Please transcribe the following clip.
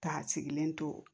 K'a sigilen to